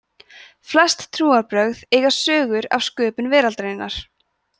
flest trúarbrögð eiga sögur af sköpun veraldarinnar